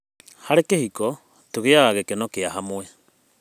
Harĩ kĩhiko, tũgĩaga gĩkeno kĩa hamwe.